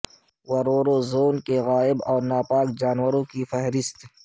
ورورو زون کے غائب اور ناپاک جانوروں کی فہرست